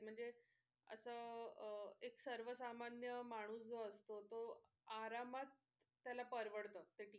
म्हणजे असं अह सर्वसामान्य माणूस जो असतो तो आरामात त्याला परवडत ते ticket.